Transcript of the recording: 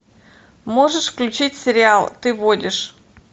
можешь включить сериал ты водишь